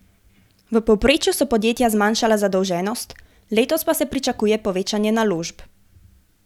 V povprečju so podjetja zmanjšala zadolženost, letos pa se pričakuje povečanje naložb.